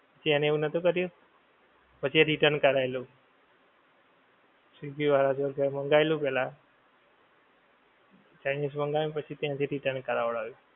એને એવું નોહતું કર્યું પછી એ return કરાવેલું swiggy વાળા જોડે મંગાવેલું પેહલા chinese મંગાવ્યું પછી ત્યાંથી return કરાવ્યું.